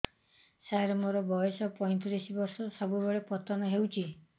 ସାର ମୋର ବୟସ ପୈତିରିଶ ବର୍ଷ ସବୁବେଳେ ପତନ ହେଉଛି